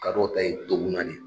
Kadɔw ta ye toguna de